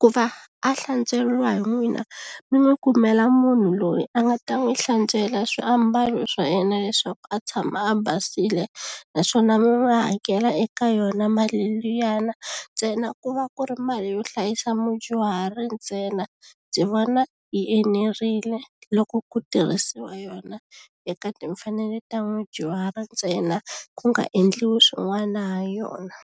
ku va a hlantsweriwa hi n'wina mi n'wi kumela munhu loyi a nga ta n'wi hlantswela swiambalo swa yena leswaku a tshama a basile naswona mi va hakela eka yona mali liyani ntsena ku va ku ri mali yo hlayisa mudyuhari ntsena ndzi vona yi enerile loko ku tirhisiwa yona eka timfanelo ta mudyuhari ntsena ku nga endliwi swin'wana ha yona.